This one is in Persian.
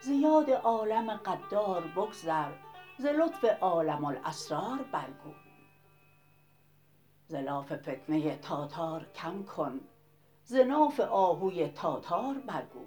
ز یاد عالم غدار بگذر ز لطف عالم الاسرار برگو ز لاف فتنه تاتار کم کن ز ناف آهوی تاتار برگو